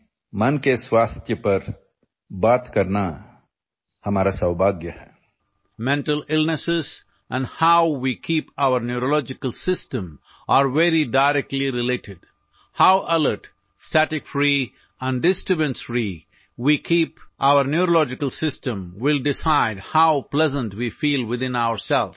या मन की बात मध्ये मानसिक आरोग्याविषयी चर्चा करणे हे आमच्यासाठी सौभाग्याचे आहे